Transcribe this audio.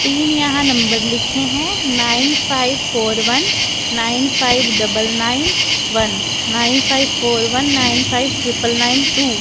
तीन यहां नंबर लिखे हैं nine five four one nine five double nine one nine five four one nine five triple nine two.